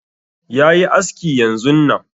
Yayi aski yanzun nan